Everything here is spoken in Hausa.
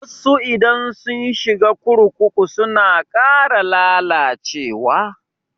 Wasu idan sun shiga kurkuku suna ƙara lalacewa.